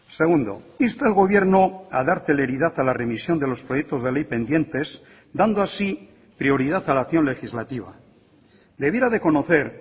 segundo insta al gobierno a dar celeridad a la remisión de los proyectos de ley pendientes dando así prioridad a la acción legislativa debiera de conocer